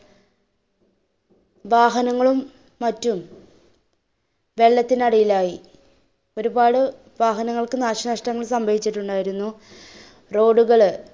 വാഹനങ്ങളും മറ്റും വെള്ളത്തിനടിയിലായി. ഒരുപാട് വാഹനങ്ങൾക്ക് നാശനഷ്ടങ്ങൾ സംഭവിച്ചിട്ടുണ്ടായിരുന്നു. road കള്